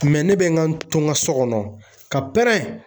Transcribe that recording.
ne bɛ n ka to n ka so kɔnɔ ka pɛrɛn